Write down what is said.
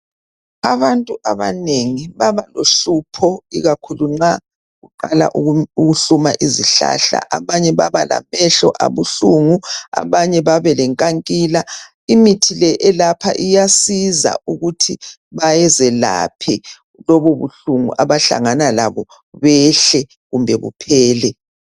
Abantu abanengi babalohlupho ikakhulu nxa kuqala ukuhluma izihlahla. Abanye babalamehlo abuhlungu, abanye bebelenkankila . Imithi le elapha iyasiza ukuthi bazelaphe lobubuhlungu abahlangana labo behle kumbe buphele.